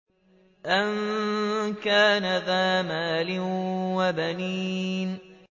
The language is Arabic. أَن كَانَ ذَا مَالٍ وَبَنِينَ